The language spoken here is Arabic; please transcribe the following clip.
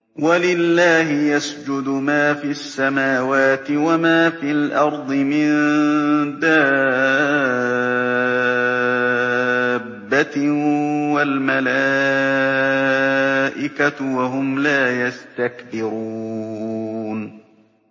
وَلِلَّهِ يَسْجُدُ مَا فِي السَّمَاوَاتِ وَمَا فِي الْأَرْضِ مِن دَابَّةٍ وَالْمَلَائِكَةُ وَهُمْ لَا يَسْتَكْبِرُونَ